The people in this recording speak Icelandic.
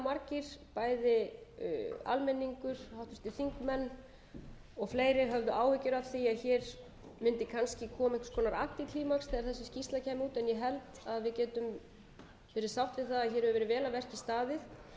að hér mundi kannski koma upp einhvers konar xxxxx þegar þessi skýrsla kæmi út en ég held að við getum verið sátt við það að hér hefur verið vel að verki staðið